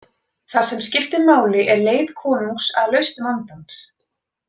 Það sem skiptir máli er leit konungs að lausn vandans.